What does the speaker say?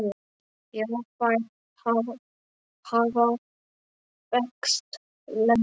Já, þær hafa þekkst lengi.